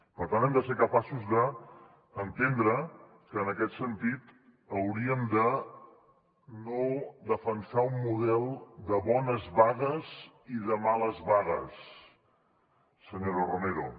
per tant hem de ser capaços d’entendre que en aquest sentit hauríem de no defensar un model bones vagues i de males vagues senyora romero